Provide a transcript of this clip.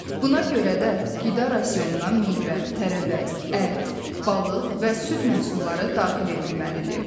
Buna görə də qida rasionuna meyvə, tərəvəz, ət, balıq və süd məhsulları daxil edilməlidir.